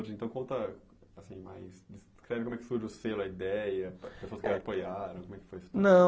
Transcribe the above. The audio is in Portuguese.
Então conta assim mais, descreve como que surge o selo, a ideia, as pessoas que a apoiaram, como é que foi isso? Não